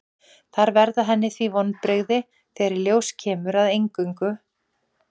Það verða henni því vonbrigði þegar í ljós kemur að eingöngu